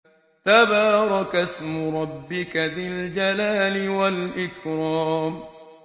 تَبَارَكَ اسْمُ رَبِّكَ ذِي الْجَلَالِ وَالْإِكْرَامِ